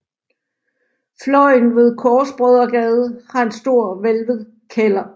Fløjen ved Korsbrødregade har en stor hvælvet kælder